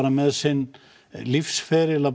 með sinn lífsferil að